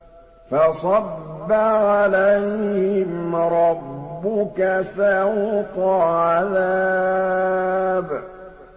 فَصَبَّ عَلَيْهِمْ رَبُّكَ سَوْطَ عَذَابٍ